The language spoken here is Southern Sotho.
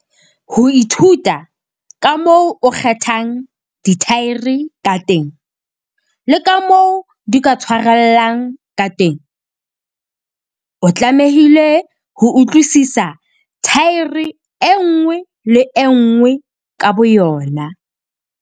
Ho ithuta ka moo o kgethang dithaere ka teng le ka moo di ka tshwarellang ka teng, o tlamehile ho utlwisisa thaere e nngwe le e nngwe ka boyona.